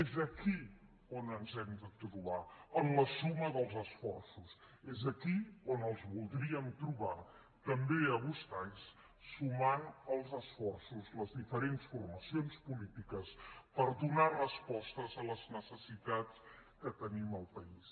és aquí on ens hem de trobar en la suma dels esforços és aquí on els voldríem trobar també a vostès sumant els esforços les diferents formacions polítiques per donar respostes a les necessitats que tenim al país